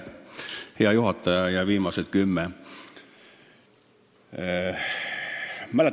Hea juhataja ja viimased kümme!